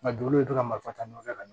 Nka dugu bɛ to ka marifa ta nɔfɛ ka na